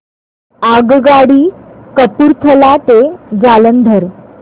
आगगाडी कपूरथला ते जालंधर